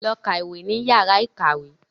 Lọ kàwé ní yàrá ìkàwé.